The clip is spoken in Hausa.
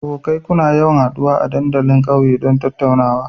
Abokai, kuna yawan haduwa a dandalin kauye don tattaunawa?